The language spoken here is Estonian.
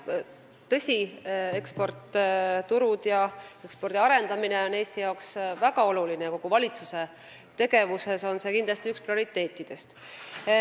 Tõsi, eksportturud ja ekspordi arendamine on Eesti jaoks väga oluline ja kindlasti üks kogu valitsuse tegevuse prioriteetidest.